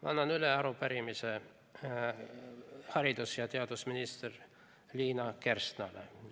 Ma annan üle arupärimise haridus- ja teadusminister Liina Kersnale.